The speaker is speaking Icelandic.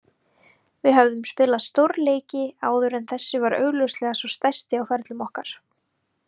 Við höfðum spilað stórleiki áður en þessi var augljóslega sá stærsti á ferlum okkar.